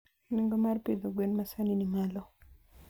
Nengo mar pidho gwen masani ni malo.